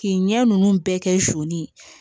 K'i ɲɛ ninnu bɛɛ kɛ soni ye